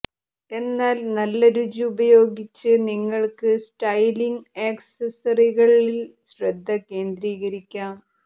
എന്നാൽ നല്ല രുചി ഉപയോഗിച്ച് നിങ്ങൾക്ക് സ്റ്റൈലിംഗ് ആക്സസറികളിൽ ശ്രദ്ധ കേന്ദ്രീകരിക്കാം